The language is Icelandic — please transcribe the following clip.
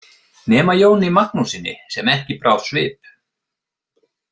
Nema Jóni Magnússyni sem ekki brá svip.